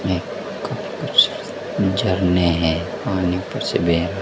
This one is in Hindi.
काफी कुछ झरने हैं पानी ऊपर से बह रहा--